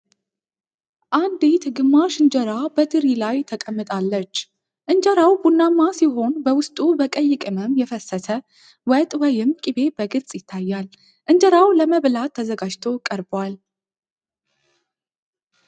አንዲት ግማሽ እንጀራ በትሪ ላይ ተቀምጣለች። እንጀራው ቡናማ ሲሆን በውስጡ በቀይ ቅመም የፈሰሰ ወጥ ወይም ቅቤ በግልጽ ይታያል። እንጀራው ለመብላት ተዘጋጅቶ ቀርቧል።